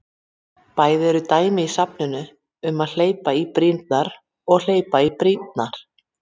Bæði eru dæmi í safninu um að hleypa í brýrnar og hleypa í brýnnar.